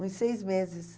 Uns seis meses.